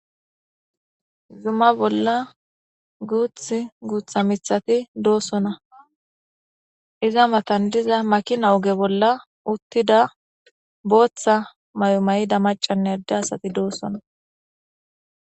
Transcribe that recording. Zuma bolla guyha gutha puteti de'osona iza matan diza makina oge bolla uttida Botha mayo mayida macane ade asati doosona